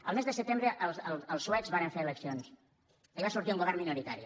el mes de setembre els suecs varen fer eleccions i va sortir un govern minoritari